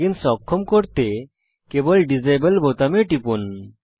plug ইন্স অক্ষম করতে কেবল ডিসেবল বোতামে টিপুন